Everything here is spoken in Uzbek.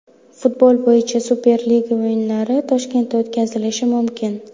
Futbol bo‘yicha Superliga o‘yinlari Toshkentda o‘tkazilishi mumkin.